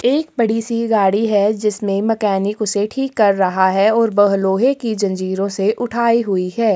एक बड़ी सी गाड़ी है जिसमे मकैनिक उसे ठीक कर रहा है और बह लोहे की जंजिरो से उठाई हुई है।